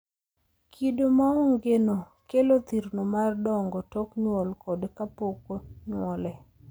Kido maongeno kelo thirno mar dongo tok nyuol kod kapoko nyuole.